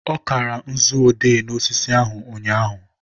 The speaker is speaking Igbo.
ọ kara nzu odee n'osisi ahụ ụnyaahụ